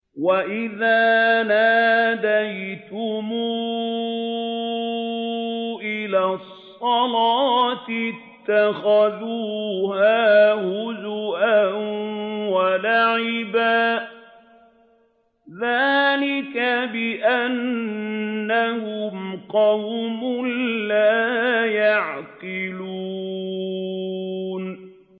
وَإِذَا نَادَيْتُمْ إِلَى الصَّلَاةِ اتَّخَذُوهَا هُزُوًا وَلَعِبًا ۚ ذَٰلِكَ بِأَنَّهُمْ قَوْمٌ لَّا يَعْقِلُونَ